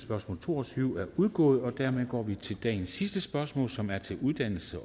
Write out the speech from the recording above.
spørgsmål to og tyve er udgået og dermed går vi til dagens sidste spørgsmål som er til uddannelses